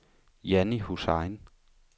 Janni Hussain